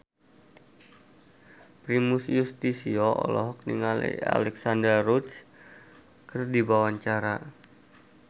Primus Yustisio olohok ningali Alexandra Roach keur diwawancara